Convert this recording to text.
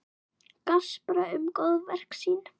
Gaspra um góðverk sín.